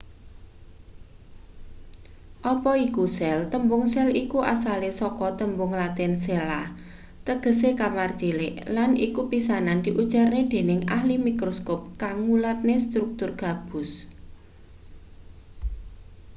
apa iku sel tembung sel iku asale saka tembung latin cella tegese kamar cilik lan iku pisanan diujarne dening ahli mikroskop kang ngulatne struktur gabus